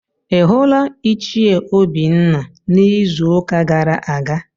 Ị hụla Ichie Obinna n'izuụka gara aga?